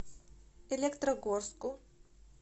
электрогорску